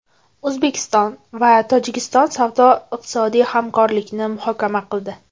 O‘zbekiston va Tojikiston savdo-iqtisodiy hamkorlikni muhokama qildi.